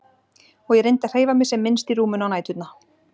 Og ég reyndi að hreyfa mig sem minnst í rúminu á næturnar.